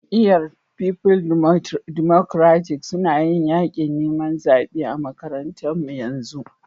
Jami'yyar People Democratic suna yin yakin niman zabe a'makarantan mu yanzu.